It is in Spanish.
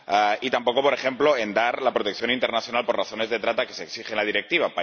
y tampoco, por ejemplo, en dar la protección internacional por razones de trata que se exige la Directiva.